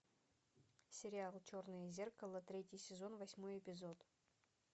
сериал черное зеркало третий сезон восьмой эпизод